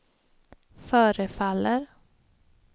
förefaller